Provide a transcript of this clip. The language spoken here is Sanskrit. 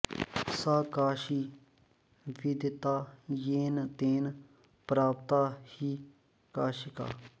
सा काशी विदिता येन तेन प्राप्ता हि काशिका